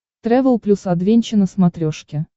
трэвел плюс адвенча на смотрешке